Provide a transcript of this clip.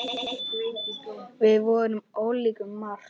Við vorum ólíkir um margt.